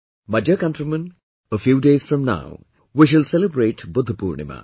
My dear countrymen, a few days from now, we shall celebrate Budha Purnima